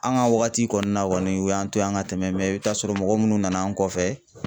An ka wagati kɔni na kɔni u y'an to ye an ka tɛmɛ i bɛ t'a sɔrɔ mɔgɔ minnu nana an kɔfɛ